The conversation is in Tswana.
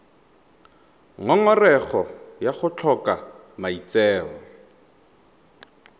ngongorego ya go tlhoka maitseo